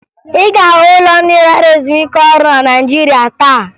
Ị ga-ahụ ụlọ ndị lara ezumike ọrụ na Naịjirịa taa